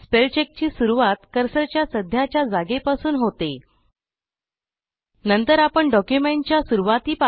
spellcheck ची सुरूवात कर्सरच्या सध्याच्या जागेपासून संपूर्ण डॉक्युमेंटच्या किंवा निवडलेल्या भागाच्या शेवटपर्यंत होते